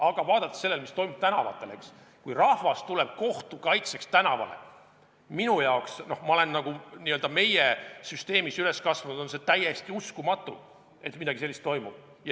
Aga vaadates seda, mis toimub tänavatel, kui rahvas tuleb kohtu kaitseks tänavale, tundub minule – ja ma olen n-ö meie süsteemis üles kasvanud – täiesti uskumatu, et midagi sellist toimub.